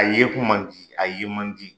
A ye kun man di, a ye man di.